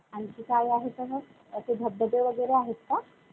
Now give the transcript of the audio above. आणखी काही आहे का मग? असे धबधबे वगैरे आहेत का?